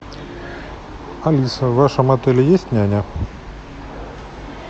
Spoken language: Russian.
алиса в вашем отеле есть няня